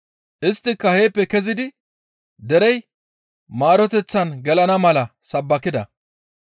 Isttika heeppe kezidi derey maaroteththan gelana mala sabbakida.